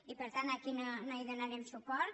i per tant aquí no hi donarem suport